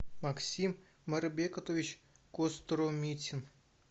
максим марбекотович костромитин